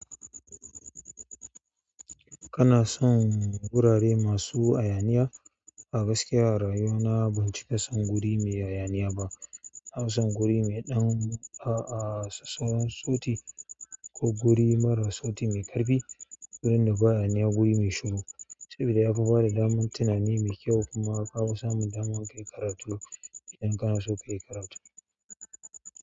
Kana son gurare masu hayaniya? A gaskiya a rayuwa na ban cika son guri mai hayaniya ba. Na fi son guri mai ɗan a'a sauran sauti ko guri mara sauti mai ƙarfi. Gurin da ba hayaniya guri mai shuru, saboda ya fi bada daman tunani mai kyau kuma ya ƙara samun daman ka yi karatu idan kana so ka yi karatu.